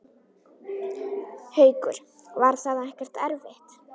Haukur: Var það ekkert erfitt?